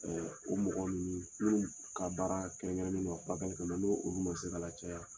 O mɔgɔ ninnu ka baara kɛrɛnkɛrɛnnin don a fura kɛli kama ni olu ma se ka lacaya.